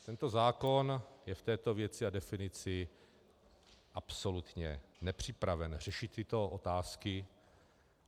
Tento zákon je v této věci a definici absolutně nepřipraven řešit tyto otázky.